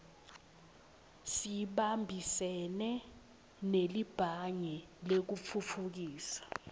sibambisene nelibhange lekutfutfukisa